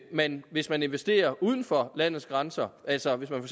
man hvis man investerer uden for landets grænser altså hvis man